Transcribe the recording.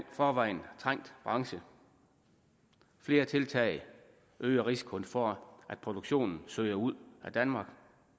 forvejen trængt branche flere tiltag øger risikoen for at produktionen søger ud af danmark